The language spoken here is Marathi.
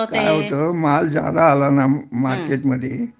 काय होत माल ज्यादा आला ना मार्केटमध्ये